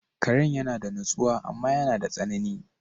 Karan yana da natsuwa amma yana da tsanani.